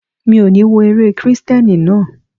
Mi ò ní wo eré Kristẹni náà.